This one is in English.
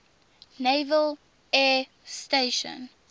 naval air station